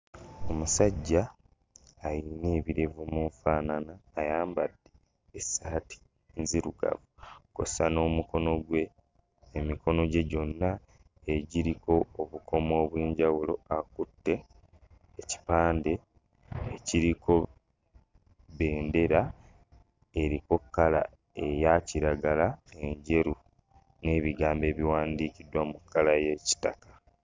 Omusajja alina ebirevu mu nfaanana, ayambadde essaati nzirugavu kw'ossa n'omukono gwe emikono gye gyonna egiriko obukomo obw'enjawulo. Akutte ekipande ekiriko bendera eriko kkala eya kiragala, enjeru n'ebigambo ebiwandiikiddwa mu kkala y'ekitaka.